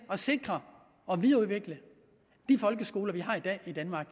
at sikre og videreudvikle de folkeskoler vi har i dag i danmark